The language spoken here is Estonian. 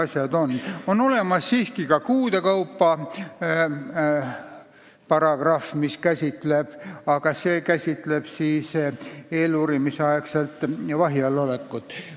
Seal on siiski olemas ka paragrahv, kus on tähtajad kuude kaupa, aga see käsitleb eeluurimisaegset vahi all olekut.